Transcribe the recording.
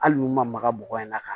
Hali n'u maga bɔgɔ in na ka